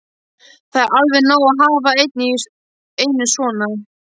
Það er alveg nóg að hafa einn í einu svona.